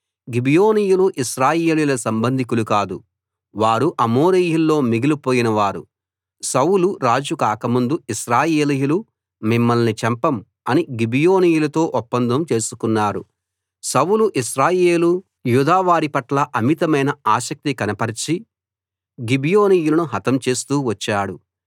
గిబియోనీయులు ఇశ్రాయేలీయుల సంబంధికులు కారు వారు అమోరీయుల్లో మిగిలిపోయిన వారు సౌలు రాజు కాక ముందు ఇశ్రాయేలీయులు మిమ్మల్ని చంపం అని గిబియోనీయులతో ఒప్పందం చేసుకున్నారు సౌలు ఇశ్రాయేలు యూదా వారిపట్ల అమితమైన ఆసక్తి కనపరచి గిబియోనీయులను హతం చేస్తూ వచ్చాడు